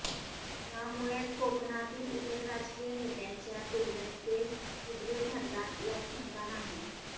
त्यामुळेच कोकणातील इतर राजकीय नेत्यांच्या तुलनेत ते उजवे ठरतात यात शंका नाही